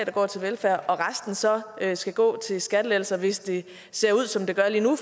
går til velfærd og resten så skal gå til skattelettelser hvis det ser ud som det gør lige nu